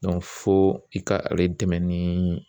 fo i ka ale dɛmɛ ni